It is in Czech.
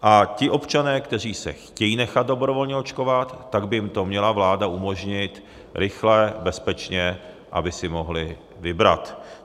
A ti občané, kteří se chtějí nechat dobrovolně očkovat, tak by jim to měla vláda umožnit rychle, bezpečně, aby si mohli vybrat.